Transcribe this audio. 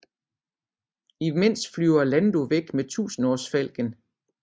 Imens flyver Lando væk med Tusindårsfalken